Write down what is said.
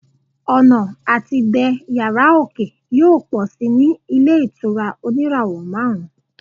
ọnà ati dé yara oke yíò pọ sí ní ilé ìtura oníràwò marun